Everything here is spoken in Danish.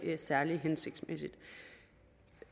særlig hensigtsmæssigt og